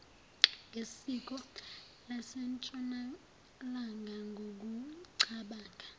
ngesiko lasentshonalanga ngokucabanga